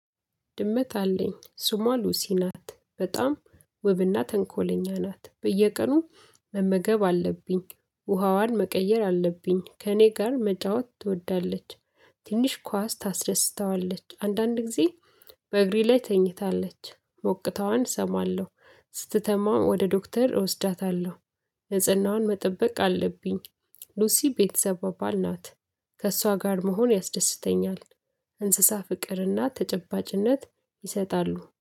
ድመት አለኝ ሱሟ ሉሲ ናት። በጣም ወብና ተንኮለኛ ናት በየቀኑ መመገብ አለብኝ፣ ውሃዋን መቀየር አለብኝ ከእኔ ጋር መጣወት ትወዳለች። ትንሽ ኳስ ታስደስታዋለች አንዳንድ ጊዜ በእግሬ ላይ ተኝታለች ሞቅታዋን እሰማለሁ ስትታመም ወደ ዶክተር እወስዳታለሁ፣ ነጽህናዋን መጠበቅ አለብኝ፣ ሉሲ የቤተሰብ አባል ናት ከእሷ ጋር መሆን ያስደስተኛል፣ እንስሳት ፍቅርና ተጨባጭነት ይሰጣሉ።